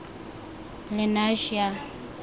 lenasia